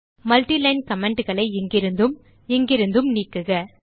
multiline commentகளை இங்கிருந்தும் இங்கிருந்தும் நீக்குக